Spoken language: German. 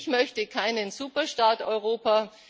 Ich möchte keinen Superstaat Europa.